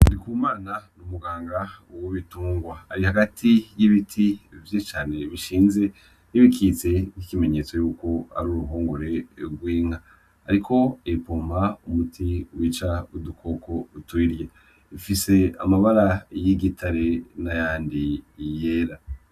Ndikumana ni umuganga w'ibitungwa, ari hagati y'ibiti vyinshi cane bishinze bikitse nk'ikimenyetso yuko ari ruhongore rw'inka, ariko ayipompa umuti wica udukoko tuyirya, ifise amabara y'igitare nayandi yera.